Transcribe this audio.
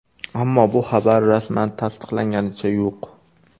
Ammo bu xabar rasman tasdiqlanganicha yo‘q.